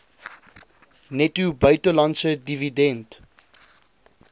netto buitelandse dividend